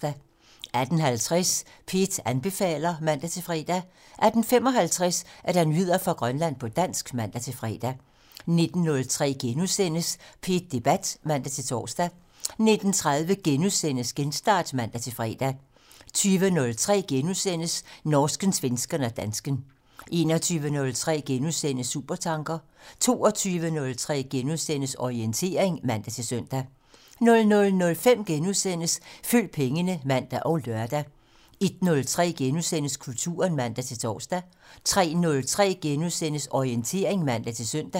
18:50: P1 anbefaler (man-fre) 18:55: Nyheder fra Grønland på dansk (man-fre) 19:03: P1 Debat *(man-tor) 19:30: Genstart *(man-fre) 20:03: Norsken, svensken og dansken *(man) 21:03: Supertanker *(man) 22:03: Orientering *(man-søn) 00:05: Følg pengene *(man og lør) 01:03: Kulturen *(man-tor) 03:03: Orientering *(man-søn)